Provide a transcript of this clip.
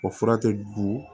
O fura tɛ dun